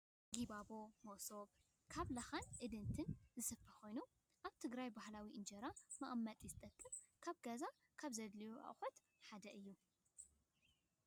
ጊባቦ /መሶብ/ ካብ ላካን እድንትን ዝስፈ ኮይኑ፣ ኣብ ትግራይ ባህላዊ እንጀራ መቀመጢ ዝጠቅም ኣብ ገዛ ካብ ዘድልዩ ኣቁሑታት ሓደ እዩ።